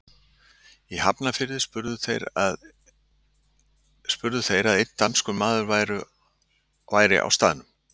Í Hafnarfirði spurðu þeir að einn danskur maður væri á staðnum.